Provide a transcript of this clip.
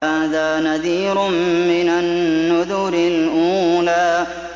هَٰذَا نَذِيرٌ مِّنَ النُّذُرِ الْأُولَىٰ